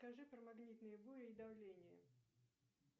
скажи про магнитные бури и давление